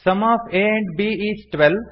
some of a and b is twelve